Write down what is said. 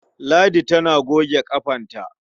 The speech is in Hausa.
Ladi tana goge ƙafanta.